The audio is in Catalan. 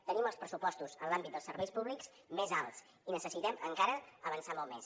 tenim els pressupostos en l’àmbit dels serveis públics més alts i necessitem encara avançar molt més